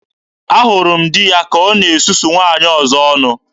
Ahụrụ m di ya ka ọ na-esusu nwaanyị ọzọ ọnụ.